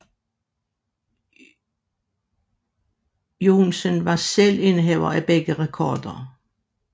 Joensen var selv indehaver af begge rekorder